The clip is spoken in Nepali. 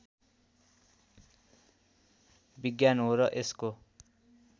विज्ञान हो र यसको